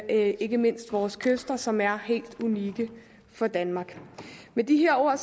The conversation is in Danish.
ikke mindst vores kyster som er helt unikke for danmark med de her ord